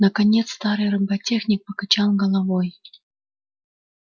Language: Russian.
наконец старый роботехник покачал головой